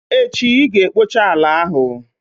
Echi i ga-ekpocha ala ahụ!